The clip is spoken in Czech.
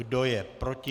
Kdo je proti?